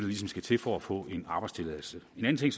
ligesom skal til for at få en arbejdstilladelse en anden ting